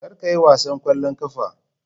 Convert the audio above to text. Kar ka yi wasan ƙwallon ƙafa.